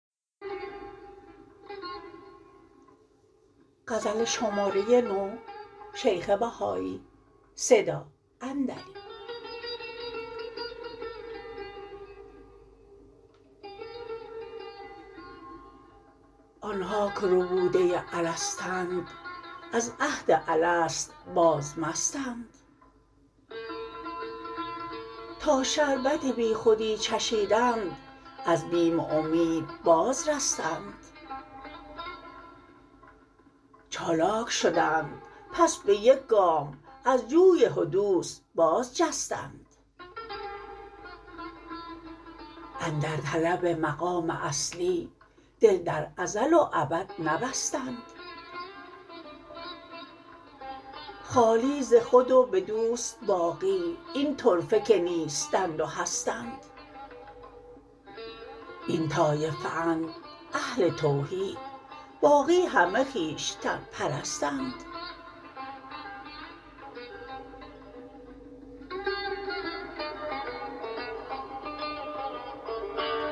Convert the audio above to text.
آنها که ربوده الستند از عهد الست باز مستند تا شربت بیخودی چشیدند از بیم و امید باز رستند چالاک شدند پس به یک گام از جوی حدوث باز جستند اندر طلب مقام اصلی دل در ازل و ابد نبستند خالی ز خود و به دوست باقی این طرفه که نیستند و هستند این طایفه اند اهل توحید باقی همه خویشتن پرستند